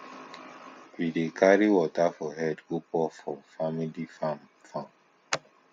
we dey carry water for head go pour for family farm farm